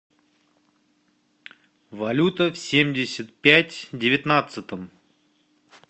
валюта в семьдесят пять девятнадцатом